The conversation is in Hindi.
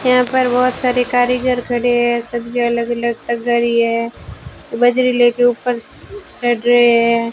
यहां पर बहोत सारे कारीगर खड़े हैं सबकी अलग अलग है बजरी लेके ऊपर चढ़ रहे हैं।